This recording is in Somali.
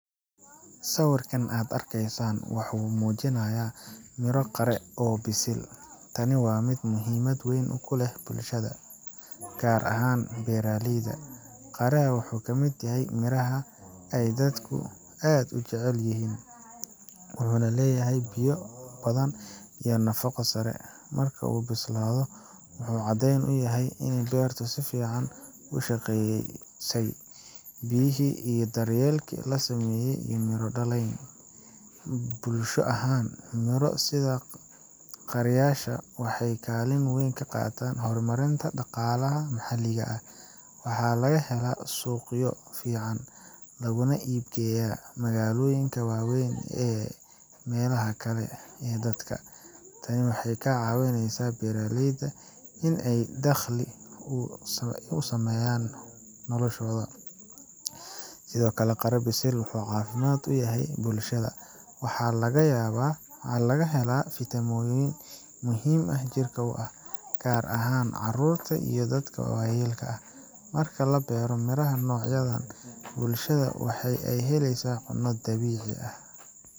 Sawirkan aad arkaysaan waxa uu muujinayaa miro qare ah oo bisil . Tani waa mid muhiimad weyn ku leh bulshada, gaar ahaan beeralayda. Qare ha wuxuu ka mid yahay miraha ay dadku aad u jecel yihiin, wuxuuna leeyahay biyo badan iyo nafaqo sare. Marka uu bislaado, wuxuu caddayn u yahay in beertu si fiican u shaqeysay, biyihii iyo daryeelkii la sameeyeyna ay miro dhaliyeen. Bulsho ahaan, miro sida qareyaasha waxay kaalin weyn ka qaataan horumarinta dhaqaalaha maxalliga ah. Waxaa laga helaa suuqyo fiican, laguna iib geeyaa magaalooyinka waaweyn iyo meelaha kale ee dalka. Tani waxay ka caawinesaa beeraleyda in ay helaan dakhli, una sahasho in ay sii horumariyaan noloshooda. Sidoo kale, qare bisil wuxuu caafimaad u yahay bulshada. Waxaa laga helaa fiitamiinno muhiim ah oo jirka u ah, gaar ahaan caruurta iyo dadka waayeelka ah. Marka la beero miraha noocan ah, bulshada waxa ay helaysaa cunno dabiici ah.